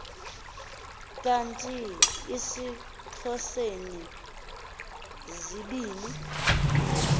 kanti esixhoseni zibini